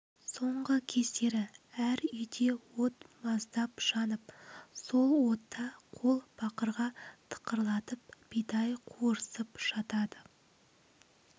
соңғы кездер әр үйде от маздап жанып сол отта қол бақырға тықырлатып бидай қуырысып жатады